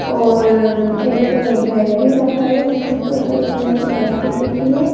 और एक बेड भी रखा है जिसमे पर्पल कलर की बेडशीट बिछी है।